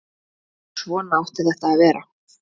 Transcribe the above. Svona átti þetta að vera.